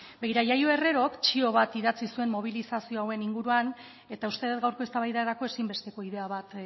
begira yayo herrerok txio bat idatzi zuen mobilizazio hauen inguruan eta uste dut gaurko eztabaidarako ezinbesteko ideia bat